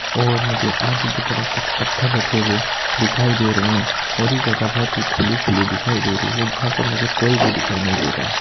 और मुझे आगे की तरफ कुछ पत्थर रखे हुए दिखाई दे रहे है और ये जगह बहुत ही खुली-खुली दिखाई दे रही है जहाँ पर मुझे कोई भी दिखाई नहीं दे रहा।